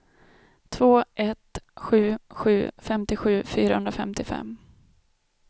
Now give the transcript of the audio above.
två ett sju sju femtiosju fyrahundrafemtiofem